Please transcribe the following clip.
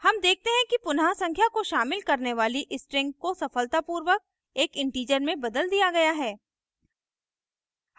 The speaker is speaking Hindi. हम देखते हैं कि पुनः संख्या को शामिल करने वाली string को सफलतापूर्वक एक integer में बदल दिया गया है